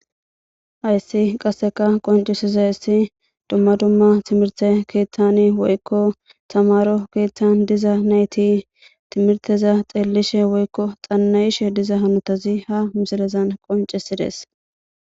Hayssi qasseka qoncisiza issi dumma dumma timirte keeththani woykko samaro keeththan diza nayti timirteza xeellishe woykko xannayishe diza hanotazi ha misilezan qoncisides